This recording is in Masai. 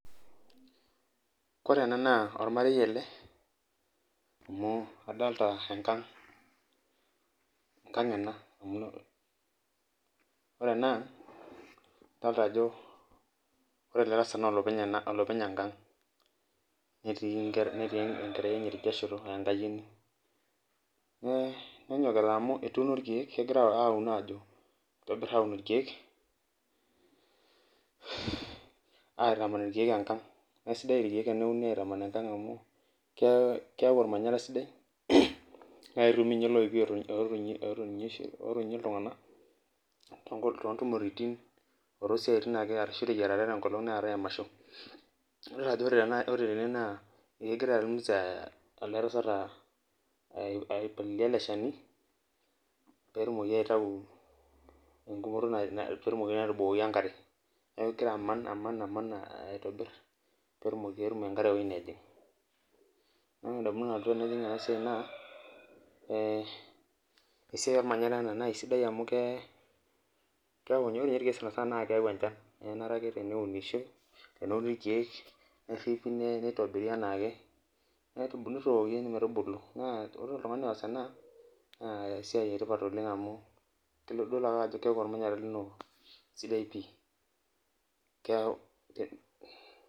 Ore ena naa ormarei ele amu adolta enkang , enkang ena amu , ore ena ore ele tasat naa olopeny enkang , netii nkera, netii enkerai enye tidia shoto aa enkayioni . Nenyokita amu etuuno irkiek aun ajo itobir aun irkiek aitaman irkiek enkang naa aisidai irkiek aitaman enakang ke keyau ormanyara sidai naa ketumi ninye iloipi otonieki , otonie iltunganak tontumoritin otoosiatin ake ashu enkolong naatae emasho .Nadol ajo ore tene ekegira ninye eletasat aipalilia ele shani petumoki aitau , petumoki atubukoi enkare , neeku kegira aman , aman , aitobir petum enkare ewueji nejing . Ore entoki nalotu ndamunot tenadol enasiai naa esiai ormanyara ena , ore ninye sanasana naa keyau enchan naa kenare ake teneunishoi , neuni irkiek , neripi nitobiri anaake nitooki metubulu naa ore oltungani oas ena naa esiai etipat oleng amu idol ake ajo keaku ormanyara lino sidai pi.